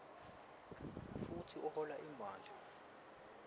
futsi uhola imali